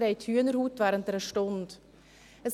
Sie haben während dieser Stunde Hühnerhaut.